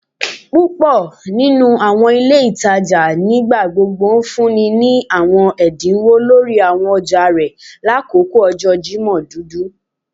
Púpò nínú àwọn ilé ìtajà nigbagbogbo ńfúnni ní àwọn ẹdínwó lórí àwọn ọjà rẹ lakoko ọjọ Jimọ dudu